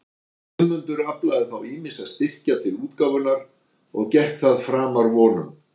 Guðmundur aflaði þá ýmissa styrkja til útgáfunnar, og gekk það framar vonum.